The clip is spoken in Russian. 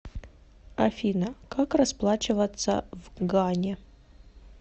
афина как расплачиваться в гане